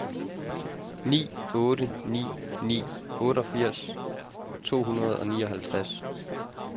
ni otte ni ni otteogfirs to hundrede og nioghalvtreds